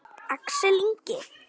Axel Ingi.